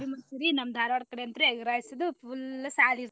Gobi manchuri~ ನಮ್ Dharwad ಕಡೆ ಅಂತ್ರಿ egg rice ದು full .